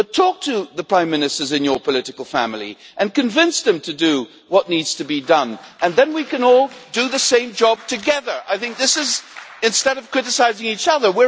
But talk to the prime ministers in your political family and convince them to do what needs to be done, and then we can all do the same job together instead of criticising each other.